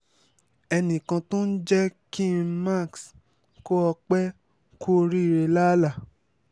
ẹnì kan tó ń jẹ́ kí m max kó o pé kú oríire lálá